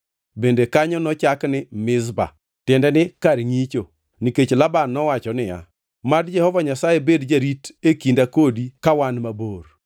Bende kanyo nochak ni Mizpa (tiende ni kar ngʼicho), nikech Laban nowacho niya, “Mad Jehova Nyasaye bed jarit e kinda kodi ka wan mabor.